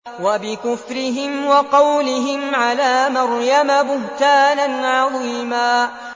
وَبِكُفْرِهِمْ وَقَوْلِهِمْ عَلَىٰ مَرْيَمَ بُهْتَانًا عَظِيمًا